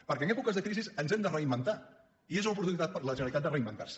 perquè en èpoques de crisi ens hem de reinventar i és una oportunitat per a la generalitat de reinventar se